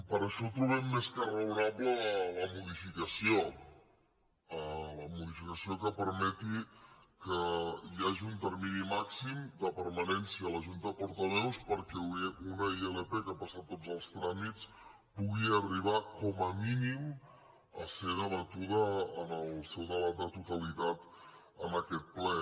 per això trobem més que raonable la modificació la modificació que permeti que hi hagi un termini màxim de permanència a la junta de portaveus perquè una ilp que ha passat tots els tràmits pugui arribar com a mínim a ser debatuda en el seu debat de totalitat en aquest ple